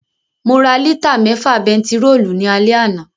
Mo ra lítà mẹ́fà bentiróòlù ní alẹ́ àná